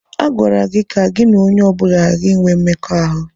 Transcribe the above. A gwara gị ka gị na onye ọ bụla ghara inwe mmekọahụ!